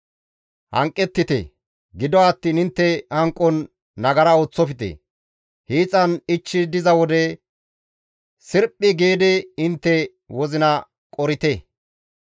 Hanqettite; gido attiin intte hanqon nagara ooththofte. Hiixan ichchi diza wode sirphi giidi intte wozina qorite.